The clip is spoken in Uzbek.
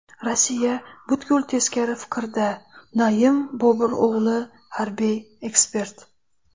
Rossiya butkul teskari fikrda”, Naim Boburo‘g‘li, harbiy ekspert.